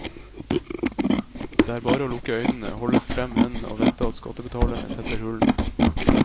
Det er bare å lukke øynene, holde frem hendene og vente at skattebetalerne tetter hullene.